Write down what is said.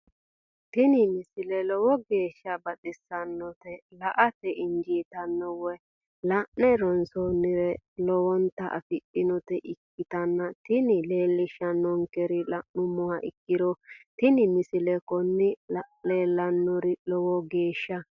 tini misile lowo geeshsha baxissannote la"ate injiitanno woy la'ne ronsannire lowote afidhinota ikkitanna tini leellishshannonkeri la'nummoha ikkiro tini misile kuni leellannori lowo geeshsha.